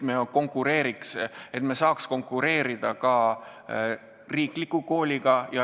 Sel juhul me saaks konkureerida ka riiklike kõrgkoolidega.